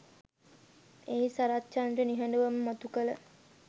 එහි සරත්චන්ද්‍ර නිහඬවම මතු කල